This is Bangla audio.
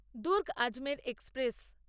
দূর্গ আজমের এক্সপ্রেস